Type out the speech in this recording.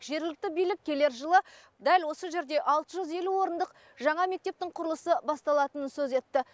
жергілікті билік келер жылы дәл осы жерде алты жүз елу орындық жаңа мектептің құрылысы басталатынын сөз етті